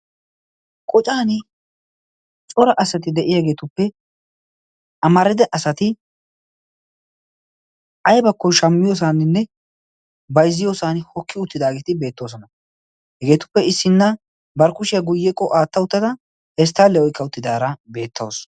Qoccani cora asati de'iyaageetuppe amarida asati aybbakko bayzziyoosan shammisiyoosan hokki uttidaageeti beettoosona. hegetuppe issina bari kushiya guyyekko aatta uttada pesttale oykka uttidaara beettawus.